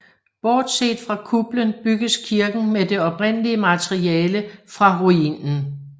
Bortset fra kuplen bygges kirken med det oprindelige materiale fra ruinen